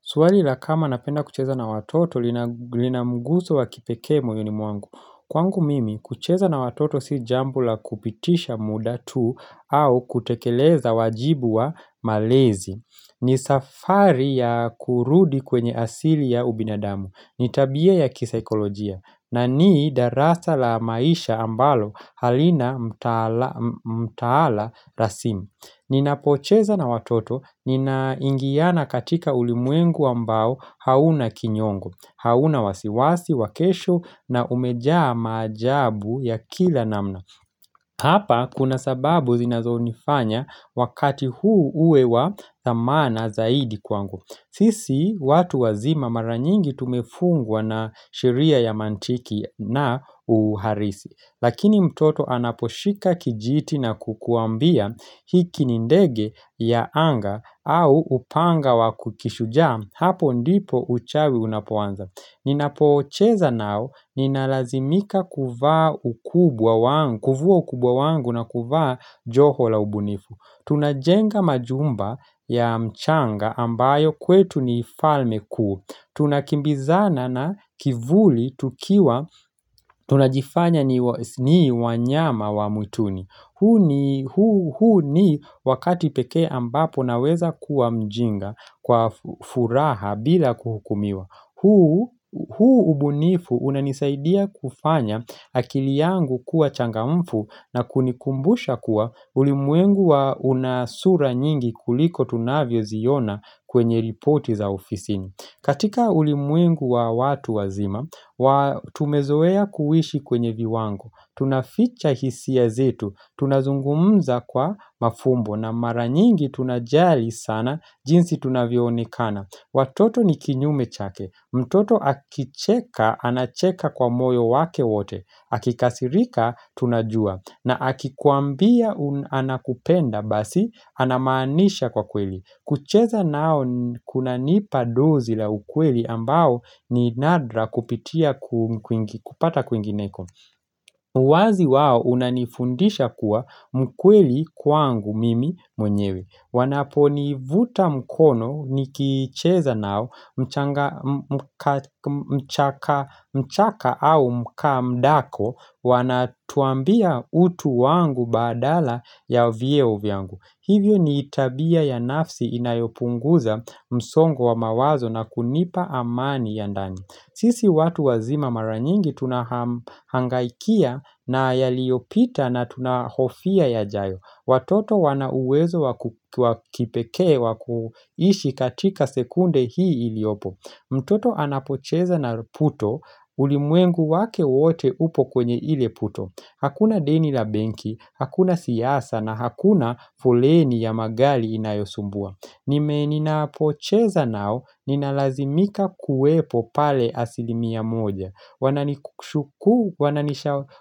Swali la kama napenda kucheza na watoto lina mguso wa kipekee moyoni mwangu. Kwangu mimi, kucheza na watoto si jambo la kupitisha muda tu au kutekeleza wajibu wa malezi. Ni safari ya kurudi kwenye asili ya ubinadamu. Ni tabia ya kisaikolojia. Na ni darasa la maisha ambalo halina mtaala rasimu. Ninapocheza na watoto ninaingiana katika ulimwengu ambao hauna kinyongo hauna wasiwasi, wa kesho na umejaa maajabu ya kila namna Hapa kuna sababu zinazonifanya wakati huu uwe thamana zaidi kwangu Sisi watu wazima mara nyingi tumefungwa na sheria ya mantiki na uharisi Lakini mtoto anaposhika kijiti na kukuambia hiki ni ndege ya anga au upanga wakukishuja hapo ndipo uchawi unapoanza Ninapocheza nao ninalazimika kuvaa kuvua ukubwa wangu na kuvaa joho la ubunifu Tunajenga majumba ya mchanga ambayo kwetu ni falme kuu. Tunakimbizana na kivuli tukiwa tunajifanya ni wanyama wa mwituni huu ni wakati pekee ambapo naweza kuwa mjinga kwa furaha bila kuhukumiwa huu ubunifu unanisaidia kufanya akili yangu kuwa changamfu na kunikumbusha kuwa ulimwengu wa una sura nyingi kuliko tunavyoziona kwenye ripoti za ofisini katika ulimwengu wa watu wazima, tumezoea kuishi kwenye viwango, tunaficha hisia zetu, tunazungumza kwa mafumbo na mara nyingi tunajari sana jinsi tunavyoonekana. Watoto ni kinyume chake, mtoto akicheka anacheka kwa moyo wake wote, akikasirika tunajua, na akikuambia anakupenda basi, anamaanisha kwa kweli. Kucheza nao kunanipa dozi la ukweli ambao ni nadra kupitia kupata kwingineko. Uwazi wao unanifundisha kuwa mkweli kwangu mimi mwenyewe Wanaponivuta mkono nikicheza nao mchanga mchaka au mkamdako Wanatuambia utu wangu badala ya vyeo vyangu. Hivyo ni tabia ya nafsi inayopunguza msongo wa mawazo na kunipa amani ya ndani. Sisi watu wazima mara nyingi tunahangaikia na yaliyopita na tunahofia yajayo. Watoto wana uwezo wa kipekee wa kuishi katika sekunde hii iliopo. Mtoto anapocheza na puto ulimwengu wake wote upo kwenye ile puto. Hakuna deni la benki, hakuna siasa na hakuna foleni ya magali inayosumbua. Nime ninapocheza nao ninalazimika kuwepo pale asilimia moja wanani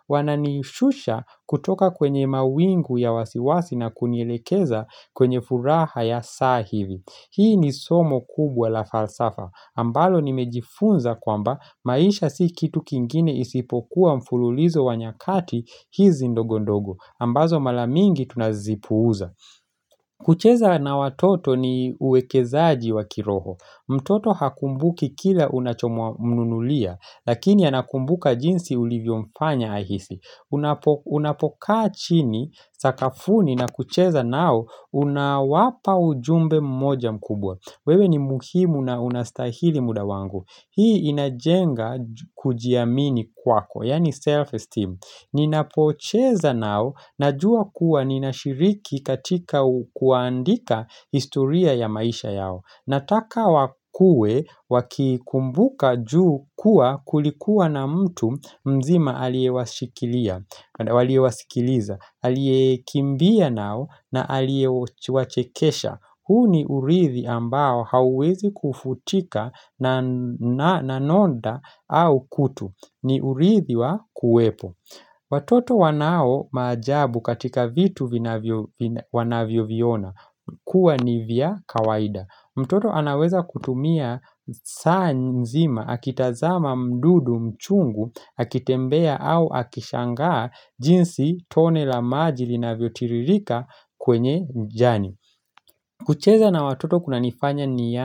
Wananishusha kutoka kwenye mawingu ya wasiwasi na kunielekeza kwenye furaha ya saa hivi Hii ni somo kubwa la falsafa ambalo nimejifunza kwamba maisha si kitu kingine isipokuwa mfululizo wa nyakati hizi ndogondogo ambazo mala mingi tunazipuuza kucheza na watoto ni uwekezaji wa kiroho mtoto hakumbuki kila unachomnunulia Lakini anakumbuka jinsi ulivyomfanya ahisi Unapokaa chini, sakafuni na kucheza nao Unawapa ujumbe mmoja mkubwa wewe ni muhimu na unastahili muda wangu Hii inajenga kujiamini kwako Yaani self-esteem Ninapocheza nao Najua kuwa ni nashiriki katika kuandika historia ya maisha yao Nataka wakue wakikumbuka juu kuwa kulikuwa na mtu mzima aliyewashikilia waliowasikiliza, aliyekimbia nao na aliyewachekesha huu ni urithi ambao hauwezi kufutika na nonda au kutu ni urithi wa kuwepo Watoto wanao maajabu katika vitu wanavyoviona kuwa ni vya kawaida. Mtoto anaweza kutumia saa nzima, akitazama mdudu mchungu, akitembea au akishangaa jinsi tone la maji linavyotiririka kwenye mjani. Kucheza na watoto kunanifanya ni ya.